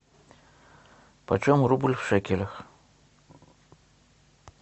почем рубль в шекелях